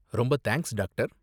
ரொம்ப thanks, doctor.